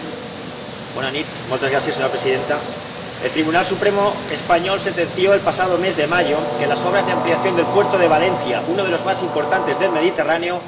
Señora Presidenta, el Tribunal Supremo español sentenció, el pasado mes de mayo, que las obras de ampliación del puerto de Valencia, uno de los más importantes del Mediterráneo, fueron ilegales.